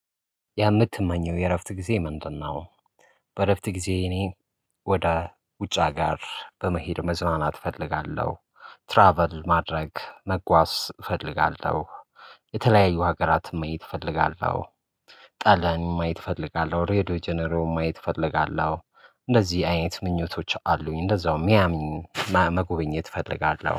ያ የምትመኘው የእረፍት ጊዜ ምንድነው? በእረፍት ጊዜ እኔ ወደ ውጭ ሀገር በመሄድ መዝናናት እፈልጋለሁ ትራቭል ማድረግ መጓዝ እፈልጋለሁ። የተለያዩ ሀገራትን ማየት እፈልጋለሁ። ጣሊያንን ማየት እፈልጋለሁ ሬድዮ ጀነሬውን ማየት እፈልጋለሁ እንደዚህ አይነት ምኞቶች አሉኝ። እንደዛውም ሚያሚን መጎብኘት እፈልጋለሁ